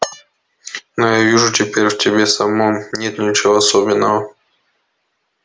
но я вижу теперь в тебе самом нет ничего особенного